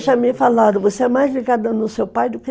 Já me falaram, você é mais ligada em seu pai do que